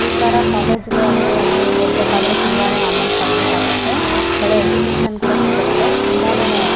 ಈ ತರ ಕೋಲೇಜ್ ಗಳಲ್ಲಿ ಅಲ್ಲಿ ಓದ್ಬೆಕಾದ್ರೆ ತುಂಬಾನೆ ಅಮೌಂಟ್ ಕಟ್ಟ್ ಬೇಗಾಗುತ್ತೆ ಒಳ್ಳೆ ಎಜ್ಯುಕೇಷನ್ ಕೂಡ ಸಿಗುತ್ತೆ ತುಂಬಾನೆ --